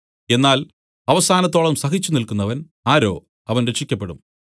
എന്നാൽ അവസാനത്തോളം സഹിച്ചു നില്ക്കുന്നവൻ ആരോ അവൻ രക്ഷിയ്ക്കപ്പെടും